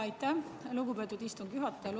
Aitäh, lugupeetud istungi juhataja!